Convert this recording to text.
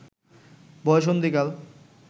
বয়সন্ধিকাল